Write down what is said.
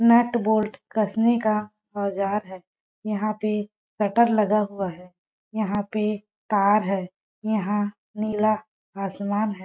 Nut bolt कसने का औजार है यहाँ पे शटर लगा हुआ है यहाँ पे तार है यहाँ नीला आसमान हैं।